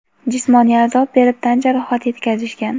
jismoniy azob berib tan jarohati yetkazishgan.